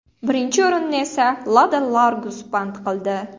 Birinchi o‘rinni esa Lada Largus band qildi.